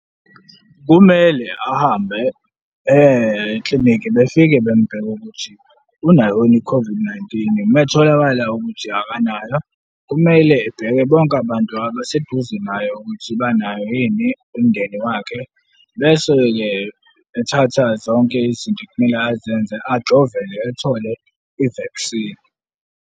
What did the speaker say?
Kumele ahambe eye eklinikhi, befike bembheke ukuthi unayo yini i-COVID-19. Uma etholakala ukuthi akanayo, kumele ebheke bonke abantu abaseduze naye ukuthi banayo yini, umndeni wakhe, bese-ke ethatha zonke izinto ekumele azenze, ajovele, ethole i-vaccine.